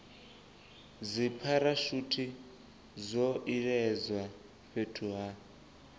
dzipharashuthi zwo iledzwa fhethu ha